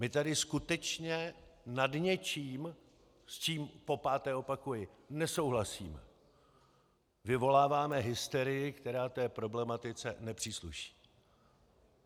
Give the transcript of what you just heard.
My tady skutečně nad něčím, s čím - popáté opakuji - nesouhlasíme, vyvoláváme hysterii, která té problematice nepřísluší.